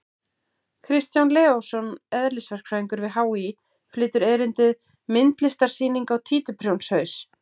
Kristján Leósson, eðlisverkfræðingur við HÍ, flytur erindið: Myndlistarsýning á títuprjónshaus!